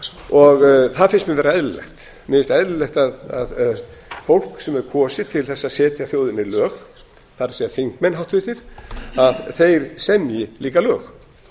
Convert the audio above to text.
þau það finnst mér vera eðlilegt mér finnst eðlilegt að fólk sem er kosið til þess að setja þjóðinni lög það er háttvirtir þingmenn að þeir semji líka lög